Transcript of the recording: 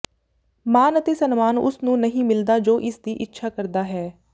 ਮਾਨ ਅਤੇ ਸਨਮਾਨ ਉਸ ਨੂੰ ਨਹੀਂ ਮਿਲਦਾ ਜੋ ਇਸ ਦੀ ਇੱਛਾ ਕਰਦਾ ਹੈ